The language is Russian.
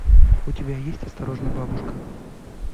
у тебя есть осторожно бабушка